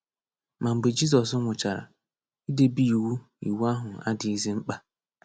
Ma mgbe Jizọs nwụchara, idebe iwu iwu ahụ adịzighị mkpa.